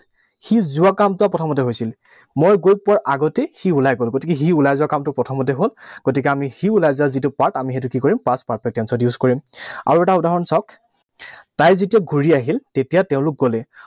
সি যোৱা কামটো প্ৰথমতে হৈছিল। মই গৈ পোৱাৰ আগতেই সি ওলাই গল। গতিকে সি ওলাই যোৱা কামটো প্ৰথমতে হল। গতিকে আমি সি ওলাই যোৱা যিটো কাম, আমি সেইটো কি কৰিম? Past perfect tense ত use কৰিম। আৰু এটা উদাহৰণ চাওঁক। তাই যেতিয়া ঘূৰি আহিল, তেতিয়া তেওঁলোক গলেই।